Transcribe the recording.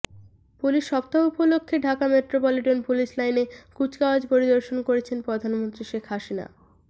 police সপ্তাহ উপলক্ষে Dhaka metropolitan police লাইনে কুচকাওয়াজ পরিদর্শন করেছেন প্রধানমন্ত্রী শেখ হাসিনা